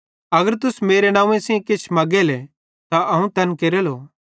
अगर तुस मेरू नंव्वे सेइं किछ भी मग्गेले त अवं तैन केरेलो